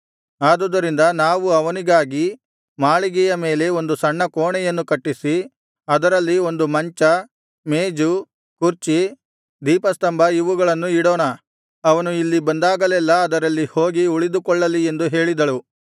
ಆದುದರಿಂದ ನಾವು ಅವನಿಗಾಗಿ ಮಾಳಿಗೆಯ ಮೇಲೆ ಒಂದು ಸಣ್ಣ ಕೋಣೆಯನ್ನು ಕಟ್ಟಿಸಿ ಅದರಲ್ಲಿ ಒಂದು ಮಂಚ ಮೇಜು ಕುರ್ಚಿ ದೀಪಸ್ತಂಭ ಇವುಗಳನ್ನು ಇಡೋಣ ಅವನು ಇಲ್ಲಿ ಬಂದಾಗಲೆಲ್ಲಾ ಅದರಲ್ಲಿ ಹೋಗಿ ಉಳಿದುಕೊಳ್ಳಲಿ ಎಂದು ಹೇಳಿದಳು